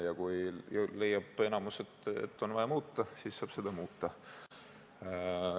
Ja kui enamik leiab, et on vaja muuta, siis saab seda muuta.